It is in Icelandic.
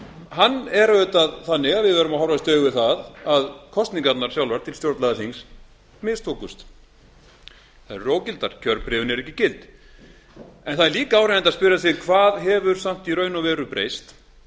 hann er auðvitað þannig að við verðum að horfast í augu við að kosningarnar sjálfar til stjórnlagaþings mistókust þær eru ógildar kjörbréfin eru ekki gild en það er líka áríðandi að spyrja sig hvað hefur samt í raun og veru breyst